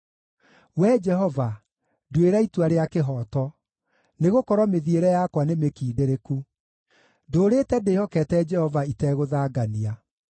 Wee Jehova, nduĩra itua rĩa kĩhooto, nĩgũkorwo mĩthiĩre yakwa nĩmĩkindĩrĩku; ndũũrĩte ndĩhokete Jehova itegũthangania.